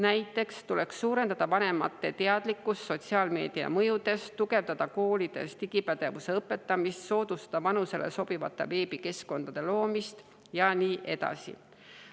Näiteks tuleks suurendada vanemate teadlikkust sotsiaalmeedia mõjudest, tugevdada koolides digipädevuse õpetamist, soodustada vanusele sobivate veebikeskkondade loomist ja nii edasi.